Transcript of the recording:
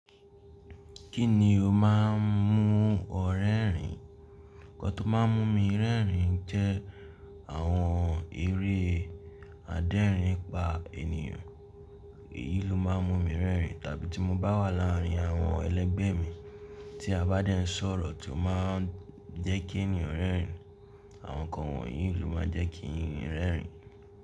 Kí ni o máa ń mú ọ rẹ́rìn? Nǹkan tó má ń mú mi rẹ́rìn jẹ́ àwọn eré adẹ́rìn-ín-pa-ènìyàn. Èyí ló má ń mú mi rẹ́rìn tàbí tí mo bá wà láàárín àwọn ẹlẹgbẹ́ mi, tí a bá dé ń sọ̀rọ̀ tí ó má ń jẹ́ kí ènìyàn rẹ́rìn, àwọn ǹkan wọ̀nyí ló má ń jẹ́ kí n rẹ́rìn.